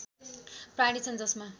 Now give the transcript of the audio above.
प्राणी छन् जसमा